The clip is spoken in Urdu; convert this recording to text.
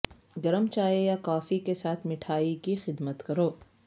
گرم چائے یا کافی کے ساتھ مٹھائی کی خدمت کرو